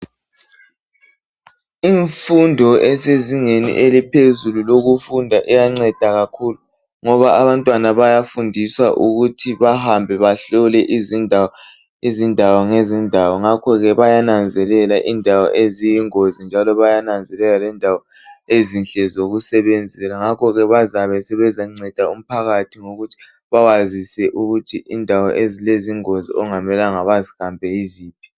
Imfundo esezingeni eliphezulu lokufunda iyanceda kakhulu ngoba abantwana bayafundiswa ukuthi bahambe bahlone izindawo ngezindawo ngakho ke bayananzelela indawo eziyingozi njalo bayananzelela lendawo ezinhle zokusebenzela ngakho bazabe sebezanceda umphakathi ngokuthi bawazise ukuthi izindawo ezilezingozi abangamelanga bazihambe yiziphi.